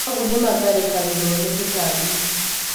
Managu nĩ matharĩkagĩrwo nĩ tũtambi.